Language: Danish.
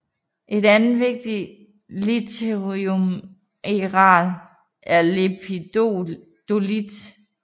Et andet vigtigt lithiummineral er lepidolit